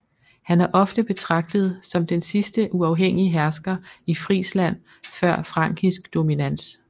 Han er ofte betragtet som den sidste uafhængige hersker i Frisland før frankisk dominans